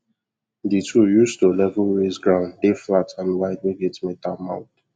the tool use to level raise ground dey flat and wide wey get metal mouth